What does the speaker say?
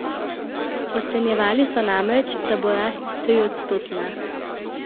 Ocenjevali so namreč, da bo rast triodstotna.